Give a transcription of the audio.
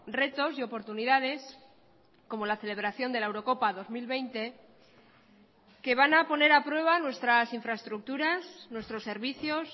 retos y oportunidades como la celebración de la eurocopa dos mil veinte que van a poner a prueba nuestras infraestructuras nuestros servicios